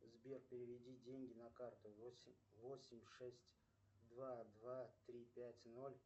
сбер переведи деньги на карту восемь восемь шесть два два три пять ноль